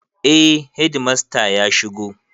Eh hedimasta ya shigo.